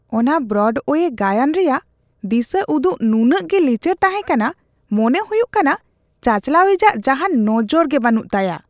ᱚᱱᱟ ᱵᱨᱚᱰᱳᱭᱮ ᱜᱟᱭᱟᱱ ᱨᱮᱭᱟᱜ ᱫᱤᱥᱟᱹ ᱩᱫᱩᱜ ᱱᱩᱱᱟᱹᱜ ᱜᱮ ᱞᱤᱪᱟᱹᱲ ᱛᱟᱦᱮᱸ ᱠᱟᱱᱟ ᱾ ᱢᱚᱱᱮ ᱦᱩᱭᱩᱜ ᱠᱟᱱᱟ ᱪᱟᱼᱪᱟᱞᱟᱣᱤᱡᱟᱜ ᱡᱟᱦᱟᱱ ᱱᱚᱡᱚᱨ ᱵᱟᱹᱱᱩᱜ ᱛᱟᱭᱟ ᱾